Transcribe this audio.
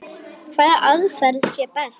Hvaða aðferð sé best.